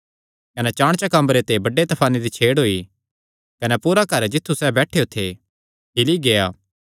कने चाणचक अम्बरे ते बड्डे तफाने दी छेड़ होई कने पूरा घर जित्थु सैह़ बैठेयो थे हिल्ली गेआ